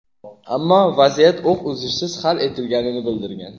ammo vaziyat o‘q uzishsiz hal etilganini bildirgan.